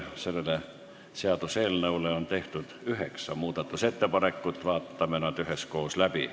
Selle seaduseelnõu kohta on tehtud üheksa muudatusettepanekut, vaatame need üheskoos läbi.